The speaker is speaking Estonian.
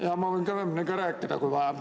Jaa, ma võin kõvemini ka rääkida, kui vaja.